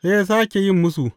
Sai ya sāke yin musu.